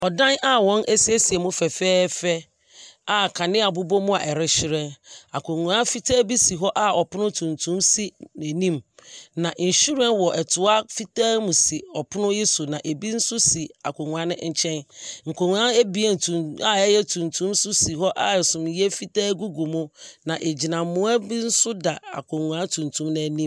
Ɔdan a wɔn ɛsiesie mu fɛfɛɛfɛ a kanea bobɔ mo a ɛrehyeren. Akonwa fitaa bi si hɔ a ɔpono tuntum si ne nim. na nwhiren wɔ ɛtoa fitaa mu si ɔpono yi so na ebi nso si akonwa no nkyɛn. Nkonwa bi a ɛyɛ tuntum nso si hɔ a sumiɛ fitaa egugu mu na ɛgyinamoa bi nso da akonwa tuntum no anim.